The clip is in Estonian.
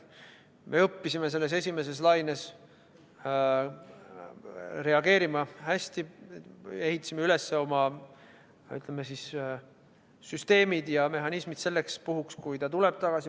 Me õppisime esimeses laines reageerima hästi, ehitasime üles oma süsteemid ja mehhanismid selleks puhuks, kui see tuleb tagasi.